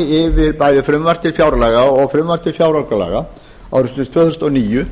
fari eftir bæði frumvarp til fjárlaga og frumvarp til fjáraukalaga ársins tvö þúsund og níu